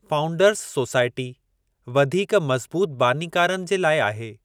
Founders society वधीक मज़बूतु बानीकारनि जे लाइ आहे।